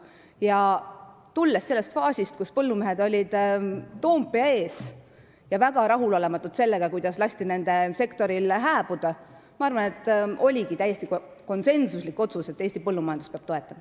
Kuna me tulime sellest faasist, kus põllumehed olid Toompea ees ja olid väga rahulolematud sellega, kuidas nende sektoril lasti hääbuda, siis, ma arvan, oligi täiesti konsensuslik otsus see, et Eesti põllumajandust peab toetama.